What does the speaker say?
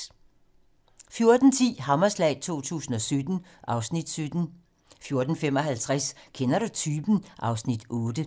14:10: Hammerslag 2017 (Afs. 17) 14:55: Kender du typen? (Afs. 8)